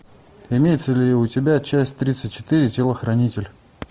имеется ли у тебя часть тридцать четыре телохранитель